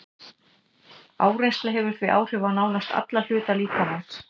Áreynsla hefur því áhrif á nánast alla hluta líkamans.